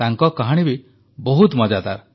ତାଙ୍କ କାହାଣୀ ବି ବହୁତ ମଜାଦାର